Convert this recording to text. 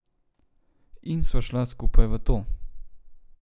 In sva šla skupaj v to.